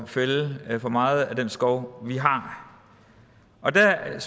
fælde for meget af den skov vi har og der er